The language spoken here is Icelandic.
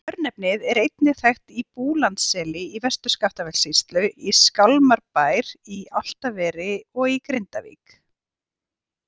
Örnefnið er einnig þekkt á Búlandsseli í Vestur-Skaftafellssýslu, í Skálmarbæ í Álftaveri og í Grindavík.